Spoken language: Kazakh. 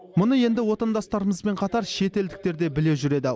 мұны енді отандастарымызбен қатар шетелдіктер де біле жүреді